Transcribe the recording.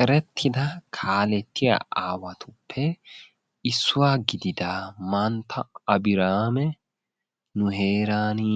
Erettida kaalettiya aawattuppe issuwaa gididda mantta Abrihame nu heerani